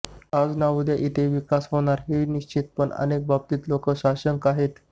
आज ना उद्या इथे विकास होणार हे निश्चित पण अनेक बाबतीत लोक साशंक आहेत